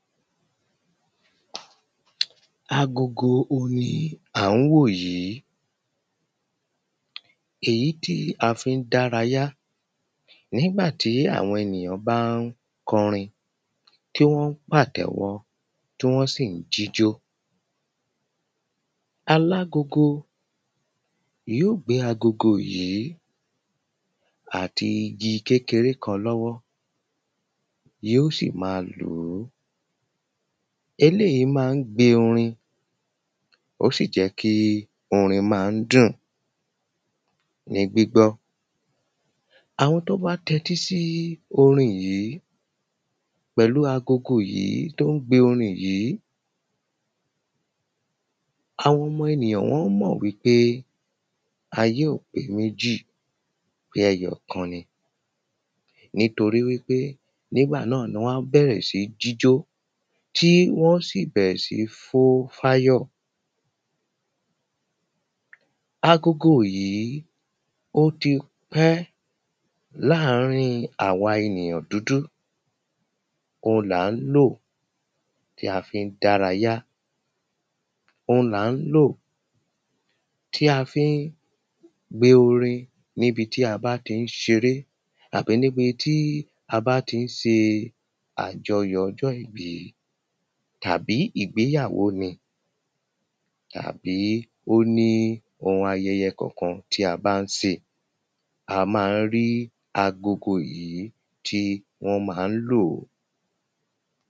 Agogo on ni à ń wò yìí èyí tí a fi ń dárayá nígbàtí àwọn ènìyàn bá ń kọrin tí wọ́n ń pàtẹ́wọ́ tí wọ́n sì ń jíjó. Alágogo yó gbé agogo yìí àti igi kékeré kan lọ́wọ́ yó sì má lùú. Eléèyí má ń gbe orin ó sì jẹ́ kí orin má ń dùn ní gbígbọ́. Àwọn tó bá tẹ́tí sí orin yìí pẹ̀lú agogo yìí tó ń gbe orin yìí àwọn ọmọ ènìyàn wọ́n mọ̀ wípé ayé ò pé méjì pé ẹyọ̀kan ni nítoríwípé nígbà náà ni wọ́n á bẹ̀rẹ̀ sí ní jíjó tí wọ́n ó sì bẹ̀rẹ̀ sí ní fó fáyọ̀. Agogo yìí ó ti pẹ́ láàrin àwa ènìyàn dúdú ohun là ń lò tí a fi ń dárayá ohun là ń lò tí a fi ń gbe orin níbi tí a bá fí ń ṣeré àbí níbi tí a bá tí ń se àjọyọ̀ ọjọ́ ìbí tàbí ìgbéyàwó ni tàbí ó ní ohun ayẹyẹ kan tí a bá ń se a má ń rí agogo yìí tí wọ́n má ń lòó.